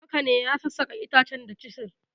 Haka ne, ya sassaka itacen da chisel.